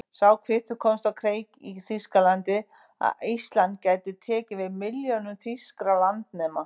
Sá kvittur komst á kreik í Þýskalandi, að Ísland gæti tekið við milljónum þýskra landnema.